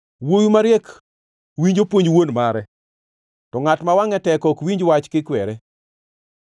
Wuowi mariek winjo puonj wuon mare, to ngʼat ma wangʼe tek ok winj wach kikwere.